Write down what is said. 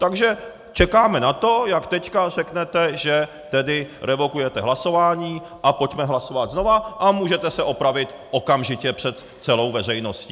Takže čekáme na to, jak teď řeknete, že tedy revokujete hlasování a pojďme hlasovat znova, a můžete se opravit okamžitě před celou veřejností.